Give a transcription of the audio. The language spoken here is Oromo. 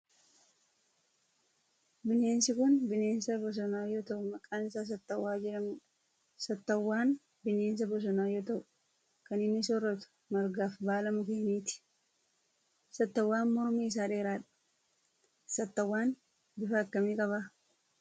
Bineensi kun bineensa bosonaa yoo ta'u maqaan isaa saatawwaa jedhamu dha. Saatawwaan bineensa bosonaa yoo ta'u kan inni sooratu margaa fi baala mukkeeniiti. Saatawwaan mormi isaa dheeradha. Saatawwaan bifa akkamii qaba?